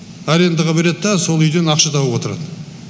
арендаға береді да сол үйден ақша тауып отырады